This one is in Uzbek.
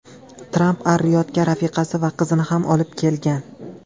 Tramp Ar-Riyodga rafiqasi va qizini ham olib kelgan.